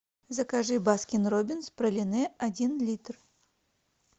закажи баскин робинс пролине один литр